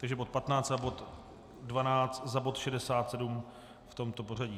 Takže bod 15 a bod 12 za bod 67, v tomto pořadí.